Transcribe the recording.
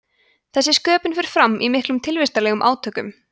þessi sköpun fer fram í miklum tilvistarlegum átökum